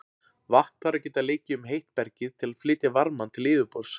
Vatn þarf að geta leikið um heitt bergið til að flytja varmann til yfirborðs.